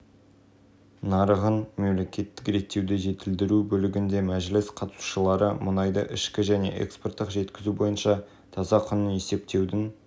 комитет пен үйлестіру кеңесінің мүшелері мен қатысушыларының биылғы жылғы қорытынды кездесуінде қауымдастығының атамекен президиумының мұнай-газ өндірісі комитетінің хаттамалық тапсырмаларын